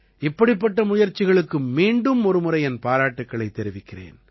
இப்படிப்பட்ட முயற்சிகளுக்கு மீண்டும் ஒரு முறை என் பாராட்டுக்களைத் தெரிவிக்கிறேன்